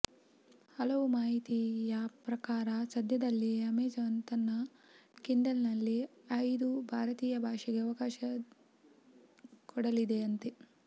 ಹಲವು ಮಾಹಿತಿಯ ಪ್ರಕಾರ ಸದ್ಯದಲ್ಲಿಯೇ ಅಮೆಜಾನ್ ತನ್ನ ಕಿಂಡಲ್ ನಲ್ಲಿ ಐದು ಭಾರತೀಯ ಭಾಷೆಗೆ ಅವಕಾಶ ಕೊಡಲಿದೆಯಂತೆ